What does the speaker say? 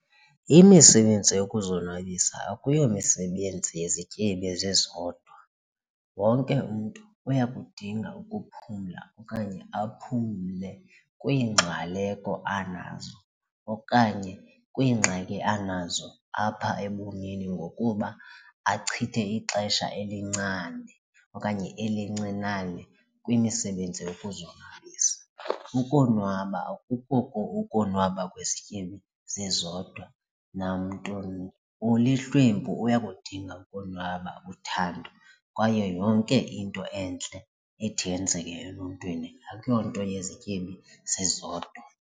Imisebenzi yokuzonwabisa akuyomisebenzi yezityebi zizodwa. Wonke umntu uyakudinga ukuphumla okanye aphumle kwiingxwaleko anazo okanye kwiingxaki anazo apha ebomini ngokuba achithe ixesha elincane okanye elincinane kwimisebenzi yokuzonwabisa. Ukonwaba akuko ukonwaba kwezityebi zizodwa nammntu ulihlwempu uyakudinga ukonwaba, uthando kwaye yonke into entle ethi yenzeke eluntwini akuyonto yezityebi zizodwa.